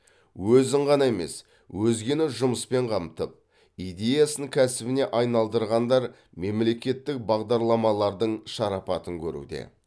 өзін ғана емес өзгені жұмыспен қамтып идеясын кәсібіне айналдырғандар мемлекеттік бағдарламалардың шарапатын көруде